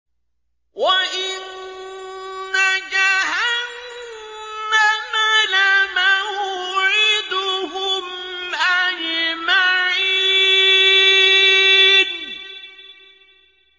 وَإِنَّ جَهَنَّمَ لَمَوْعِدُهُمْ أَجْمَعِينَ